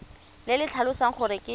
le le tlhalosang gore ke